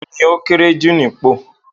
Òun ni ókéré jù nípò.